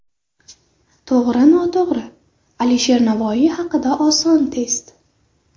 To‘g‘ri-noto‘g‘ri: Alisher Navoiy haqida oson test.